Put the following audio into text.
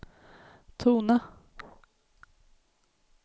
tona